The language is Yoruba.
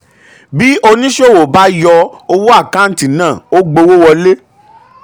bí oníṣòwò bá yọ owó àkántì náà ò gbọ́wọ́wọlé.